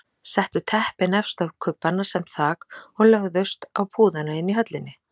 Settu teppin efst á kubbana sem þak og lögðust á púðana inni í höllinni.